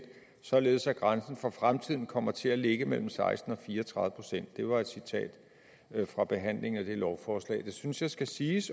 således at grænsen for fremtiden kommer til at ligge mellem seksten og fire og tredive procent det var et citat fra behandlingen af det lovforslag det synes jeg skal siges